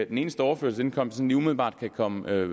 den eneste overførselsindkomst jeg sådan lige umiddelbart kan komme i